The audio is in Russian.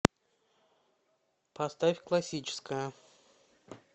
поставь классическая